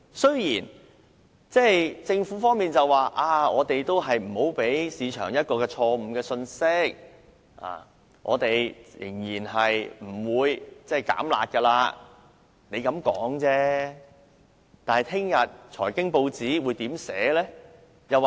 雖然政府表明無意向市場發放錯誤信息，當局仍然不會"減辣"，但明天財經新聞會如何報道？